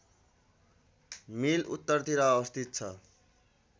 मिल उत्तरतिर अवस्थित छ